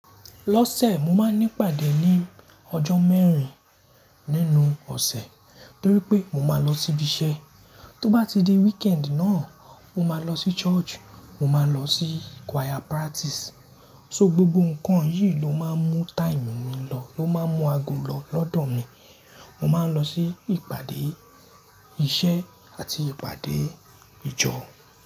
Lọ́sẹ̀, mo máa ń ní ìpàdé ní ọjọ́ mẹ́rin nínú ọ̀sẹ̀ torí pé mo máa lọ sí ibi iṣẹ́. Tó bá ti di weekend náà, mo máa lọ sí church, mo máa lọ sí choir practice. So gbogbo nǹkan yìí ló máa ń mú time mi lọ, ló máa ń mú ago lọ lọ́dọ̀ mi. Mo máa ń lọ sí ìpàdé iṣẹ́ àti ìpàdé ìjọ.